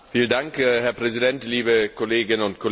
Herr Präsident, liebe Kolleginnen und Kollegen!